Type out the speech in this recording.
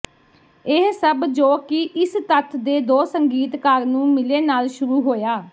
ਇਹ ਸਭ ਜੋ ਕਿ ਇਸ ਤੱਥ ਦੇ ਦੋ ਸੰਗੀਤਕਾਰ ਨੂੰ ਮਿਲੇ ਨਾਲ ਸ਼ੁਰੂ ਹੋਇਆ